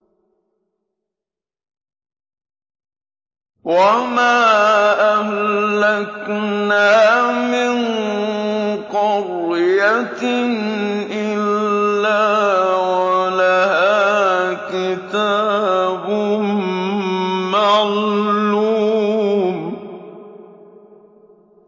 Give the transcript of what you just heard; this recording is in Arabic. وَمَا أَهْلَكْنَا مِن قَرْيَةٍ إِلَّا وَلَهَا كِتَابٌ مَّعْلُومٌ